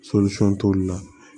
t'olu la